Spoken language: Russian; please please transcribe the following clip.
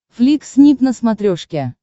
флик снип на смотрешке